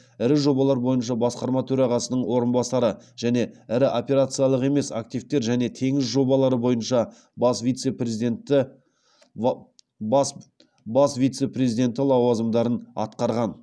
ірі жобалар бойынша басқарма төрағасының орынбасары және ірі операциялық емес активтер және теңіз жобалары бойынша бас вице президенті лауазымдарын атқарған